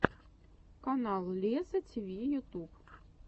канал лезза тиви ютуб